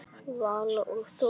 Vala og Þóra.